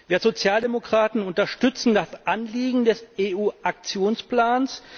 Wir Sozialdemokraten unterstützen das Anliegen des EU Aktionsplans.